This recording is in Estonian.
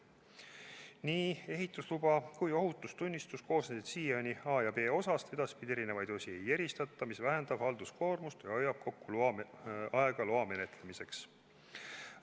Nii ehitusluba kui ka ohutustunnistus koosnesid siiani A- ja B-osast, edaspidi eri osi ei eristata, mis vähendab halduskoormust ja hoiab kokku aega loa menetlemisel.